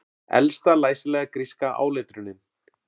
Elsta læsilega gríska áletrunin